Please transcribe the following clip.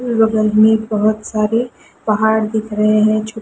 बगल में बहोत सारे पहाड़ दिख रहे है।